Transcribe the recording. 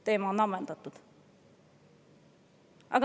Teema on ammendatud.